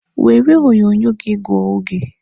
Were onyonyo gị gụọ oge!